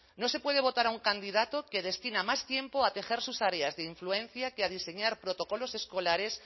no se puede votar a un candidato que destina más tiempo a tejer sus áreas de influencia que a diseñar protocolos escolares